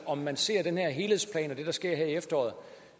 om man ser den her helhedsplan og det der sker her i efteråret